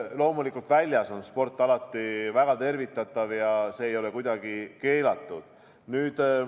Loomulikult on väljas tehtav sport alati väga tervitatav ja see ei ole kuidagi keelatud.